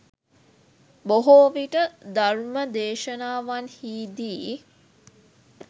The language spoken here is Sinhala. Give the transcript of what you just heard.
බොහෝවිට ධර්ම දේශනාවන්හිදී